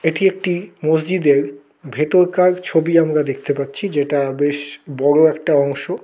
এটি একটি মসজিদের ভেতরকার ছবি আমরা দেখতে পাচ্ছি যেটা বেশ বড়ো একটা অংশ।